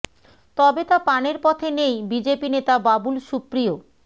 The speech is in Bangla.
তবে তা পানের পথে নেই বিজেপি নেতা বাবুল সুপ্রিয়